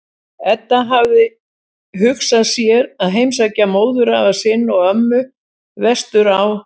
Edda hafði hugsað sér að heimsækja móðurafa sinn og-ömmu vestur á